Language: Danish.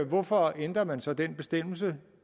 hvorfor ændrer man så den bestemmelse